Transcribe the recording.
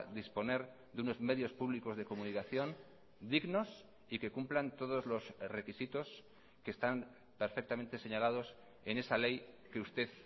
disponer de unos medios públicos de comunicación dignos y que cumplan todos los requisitos que están perfectamente señalados en esa ley que usted